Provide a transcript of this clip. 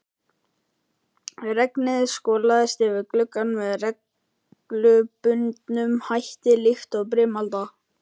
Regnið skolaðist yfir gluggann með reglubundnum hætti líkt og brimalda.